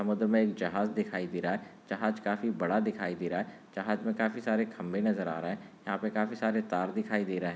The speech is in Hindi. समुद्र मे एक जहाज दिखाई दे रहा है जहाज काफी बड़ा दिखाई दे रहा है जहाज मे काफी सारे खंबे नजर आ रहे है यहा पर काफी सारे तार दिखाई दे रहे है।